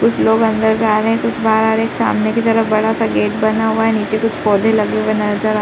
कुछ लोग अंदर जा रहे हैं। कुछ बाहर आ रहे हैं। सामने की तरफ बड़ा-सा गेट बना हुआ है नीचे कुछ पौधे लगे हुए नजर आ --